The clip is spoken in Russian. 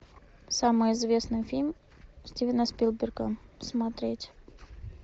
самый известный фильм стивена спилберга смотреть